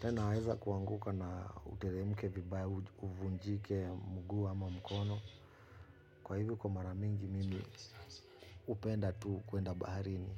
Tena waweza kuanguka na uteremke vibaya uvunjike mguu ama mkono. Kwa hivyo kwa maramingi mimi hupenda tu kwenda baharini.